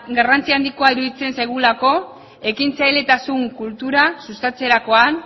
garrantzia handikoa iruditzen zaigulako ekintzailetasun kultura sustatzerakoan